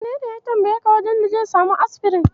Wanene ya tambayeka wajen da zai samu asfirin?